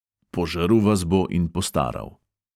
Požrl vas bo in postaral.